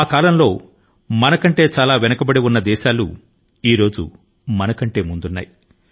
అప్పట్లో మన కంటే వెనుకబడి ఉన్న చాలా దేశాలు ఇప్పుడు మన కంటే ముందున్నాయి